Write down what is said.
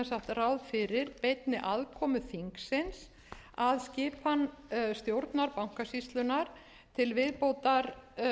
sem sagt ráð fyrir beinni aðkomu þingsins að skipan stjórnar bankasýslunnar til viðbótar